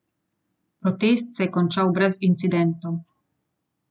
Protest se je končal brez incidentov.